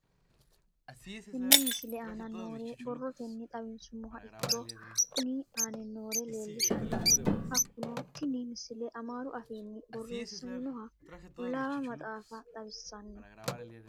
Tenne misile aana noore borrotenni xawisummoha ikirro kunni aane noore leelishano. Hakunno tinni misile amaaru afiinni boreesaminoha qullaawa maxxafa xawissanno.